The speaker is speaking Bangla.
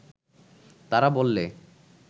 তারা বললে